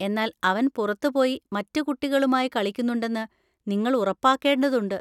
എന്നാൽ അവൻ പുറത്ത് പോയി മറ്റ് കുട്ടികളുമായി കളിക്കുന്നുണ്ടെന്ന് നിങ്ങൾ ഉറപ്പാക്കേണ്ടതുണ്ട്.